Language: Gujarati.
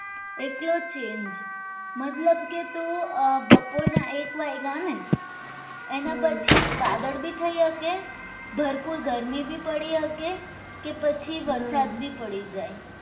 એટલો change મતલબ કે તો બપોરના એક વાગ્યે એના પછી વાદળ થઈ શકે ભરપૂર ગરમી પડી શકે કે પછી વરસાદની પડી જાય